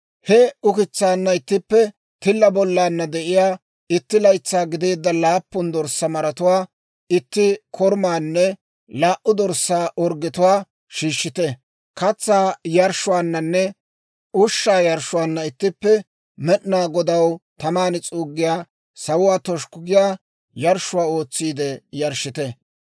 He ukitsaanna ittippe tilla bollaanna de'iyaa itti laytsaa gideedda laappun dorssaa maratuwaa, itti korumaanne laa"u dorssaa orggetuwaa shiishshite. Katsaa yarshshuwaananne ushshaa yarshshuwaanna ittippe Med'inaa Godaw taman s'uuggiyaa, sawuwaa toshukku giyaa yarshshuwaa ootsiide yarshshite.